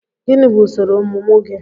Gịnị bụ usoro ọmụmụ gị?